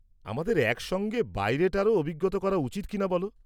-আমাদের একসঙ্গে বাইরেটারও অভিজ্ঞতা করা উচিত কিনা বলো?